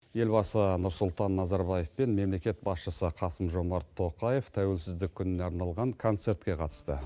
елбасы нұрсұлтан назарбаев пен мемлекет басшысы қасым жомарт тоқаев тәуелсіздік күніне арналған концертке қатысты